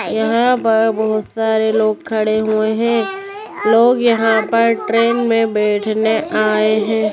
यहाँ पर बहुत सारे लोग खड़े हुए है लोग यहाँ पर ट्रैन में बैठने आए हैं।